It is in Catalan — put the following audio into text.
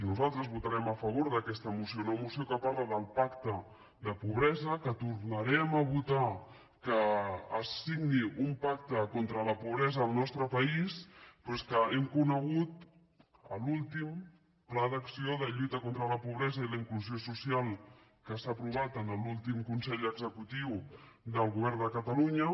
nosaltres votarem a favor d’aquesta moció una moció que parla del pacte de pobresa que tornarem a votar que es signi un pacte contra la pobresa al nostre país però és que hem conegut l’últim pla d’acció per a la lluita contra la pobresa i la inclusió social que s’ha aprovat en l’últim consell executiu del govern de catalunya